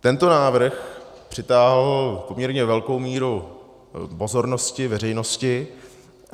Tento návrh přitáhl poměrně velkou míru pozornosti veřejnosti.